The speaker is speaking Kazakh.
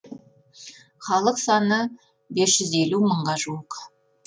халық саны бес жүз елу мыңға жуық